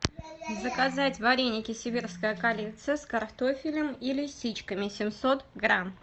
заказать вареники сибирская коллекция с картофелем и лисичками семьсот грамм